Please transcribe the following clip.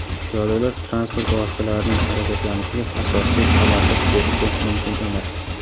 Piyodalar transport vositalarining harakatlanishiga asossiz xalaqit berishi mumkin emas.